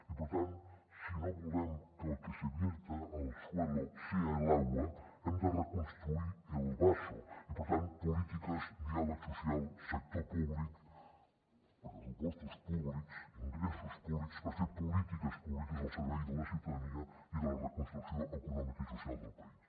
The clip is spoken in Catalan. i per tant si no volem que el que se vierta al suelo sea el agua hem de reconstruir el pressupostos públics ingressos públics per fer polítiques públiques al servei de la ciutadania i de la reconstrucció econòmica i social del país